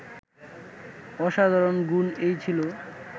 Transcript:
অসাধারণ গুণ এই ছিল